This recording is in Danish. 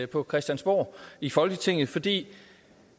på christiansborg i folketinget fordi